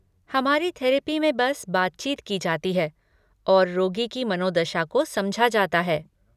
हमारी थेरेपी में बस बातचीत की जाती है और रोगी की मनोदशा को समझा जाता है।